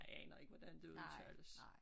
Jeg aner ikke hvordan det udtales